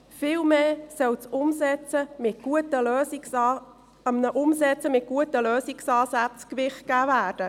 Vielmehr soll einer Umsetzung mit guten Lösungsansätzen Gewicht gegeben werden.